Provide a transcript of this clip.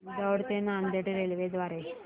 दौंड ते नांदेड रेल्वे द्वारे